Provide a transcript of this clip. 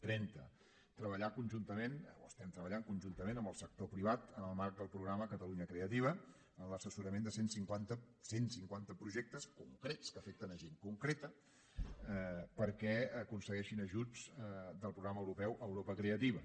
trenta treballar conjuntament o estem treballant conjuntament amb el sector privat en el marc del programa catalunya creativa en l’assessorament de cent cinquanta cent cinquanta projectes concrets que afecten gent concreta perquè aconsegueixin ajuts del programa europeu europa creativa